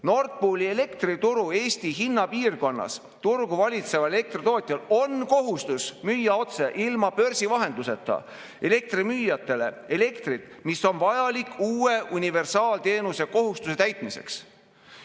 Nord Pooli elektrituru Eesti hinnapiirkonnas turgu valitseval elektritootjal on kohustus müüa otse, ilma börsi vahenduseta, elektrimüüjatele elektrit, mis on vajalik uue universaalteenuse kohustuse täitmiseks.